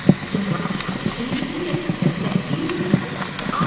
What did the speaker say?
Sonra aşağıya enib digər küpləri də bir-bir götürdü.